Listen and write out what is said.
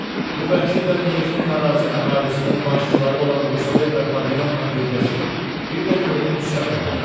Bu vəhşi də Liejin narazı əhalisinin başçıları olan Rusler və Paviyonla birləşib, bir də gördün üsyan elədi.